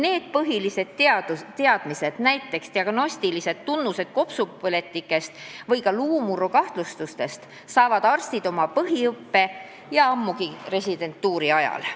Need põhilised teadmised, näiteks diagnostilistest tunnustest kopsupõletiku korral või ka luumurru kahtlustuse korral, saavad arstid oma põhiõppe ja residentuuri ajal.